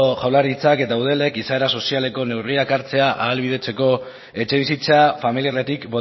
jaurlaritzak eta eudelek izaera sozialeko neurriak hartzea ahalbidetzeko etxebizitza familiarretik